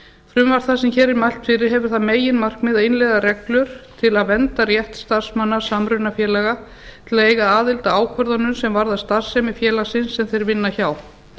frumvarp það sem hér er mælt fyrir hefur það meginmarkmið að innleiða reglur til að vernda rétt starfsmanna samrunafélaga til að eiga aðild að ákvörðunum sem varða starfsemi félagsins sem þeir vinna hjá